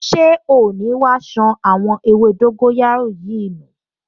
Ṣé oò ní wá ṣan àwọn ewé dóńgóyárò yìí nù!